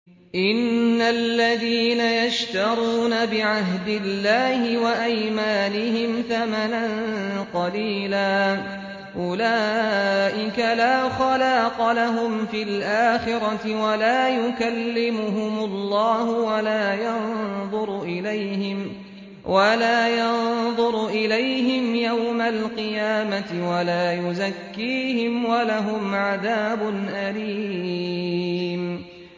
إِنَّ الَّذِينَ يَشْتَرُونَ بِعَهْدِ اللَّهِ وَأَيْمَانِهِمْ ثَمَنًا قَلِيلًا أُولَٰئِكَ لَا خَلَاقَ لَهُمْ فِي الْآخِرَةِ وَلَا يُكَلِّمُهُمُ اللَّهُ وَلَا يَنظُرُ إِلَيْهِمْ يَوْمَ الْقِيَامَةِ وَلَا يُزَكِّيهِمْ وَلَهُمْ عَذَابٌ أَلِيمٌ